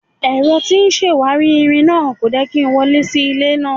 Ẹ̀rọ tí ń ṣàwárí irin náà kò jẹ́ kí n wọlé sí ilé náà.